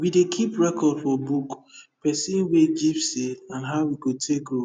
we dey keep record for book person wey give seed and how e go take grow